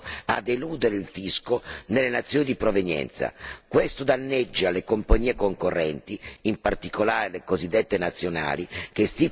Questo danneggia le compagnie concorrenti, in particolare le cosiddette nazionali, che stipulano contratti in base alla provenienza del proprio staff.